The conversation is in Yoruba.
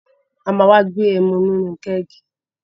A ma wá gbé ẹmu inú kẹ́ẹ̀gì